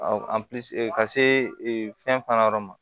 ka se fɛn fana ma